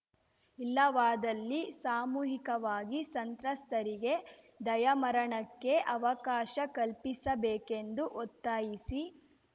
ಇಲ್ಲವಾದಲ್ಲಿ ಸಾಮೂಹಿಕವಾಗಿ ಸಂತ್ರಸ್ತರಿಗೆ ದಯಾಮರಣಕ್ಕೆ ಅವಕಾಶ ಕಲ್ಪಿಸಬೇಕೆಂದು ಒತ್ತಾಯಿಸಿ